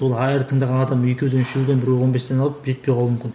сол тыңдаған адам екеуден үшеуден біреуі он бестен алып жетпей қалуы мүмкін